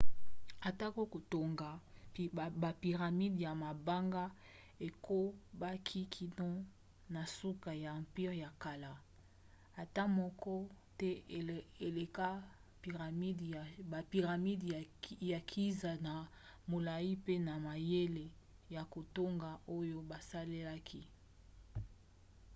atako kotonga bapyramides ya mabanga ekobaki kino na suka ya empire ya kala ata moko te eleka bapyramides ya giza na molai mpe na mayele ya kotonga oyo basalelaki